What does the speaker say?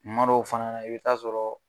Kumadɔw fana na i bɛ taa sɔrɔ.